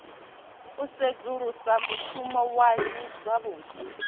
u sedzulusa mushumo waṋu zwavhuḓi